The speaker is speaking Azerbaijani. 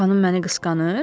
xanım məni qısqanır?